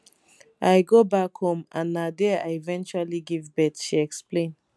i go back home and na dia i eventually give birth she explain